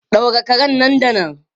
Daure karen nan da nan!